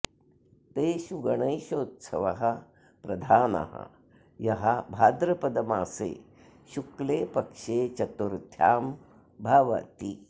तेषु गणेशोत्सवः प्रधानः यः भाद्रपदमासे शुक्ले पक्षे चतुर्थ्यां भवति